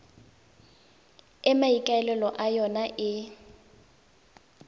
e maikaelelo a yona e